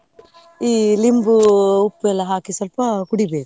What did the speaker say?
ಈ ಲಿಂಬು ಉಪ್ಪು ಎಲ್ಲಾ ಹಾಕಿ ಸ್ವಲ್ಪ ಕುಡಿಬೇಕು.